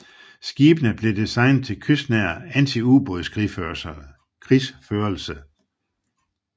Skibene blev designet til kystnær antiubådskrigsførelse